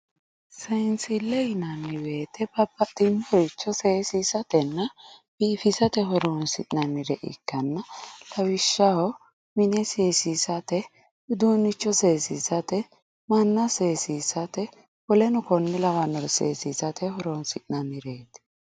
Seensile yinanni woyte babbaxxino bayicho seesissatenna biifissate horonsi'nannire ikkanna lawishshaho mine seesissa uduunicho seesissate manna seesissate woleno kone lawanore seesissate horonsi'nannireti.